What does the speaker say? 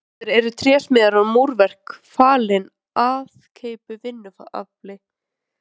Núorðið eru trésmíðar og múrverk falin aðkeyptu vinnuafli.